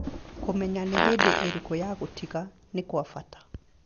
Kũmenya nĩ hĩndĩ ĩrĩkũ ya gũtiga nĩ kwa bata.